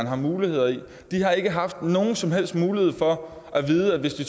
har muligheder i de har ikke haft nogen som helst mulighed for at vide at hvis de